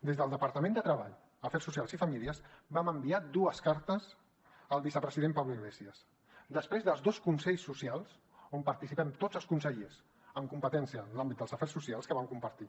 des del departament de treball afers socials i famílies vam enviar dues cartes al vicepresident pablo iglesias després dels dos consells socials on participem tots els consellers amb competència en l’àmbit d’afers socials que vam compartir